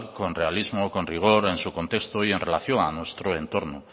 con realismo con rigor en su contexto y en relación a nuestro entorno